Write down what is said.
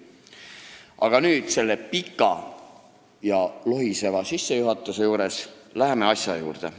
Aga nüüd lähen selle pika ja lohiseva sissejuhatuse juurest asja juurde.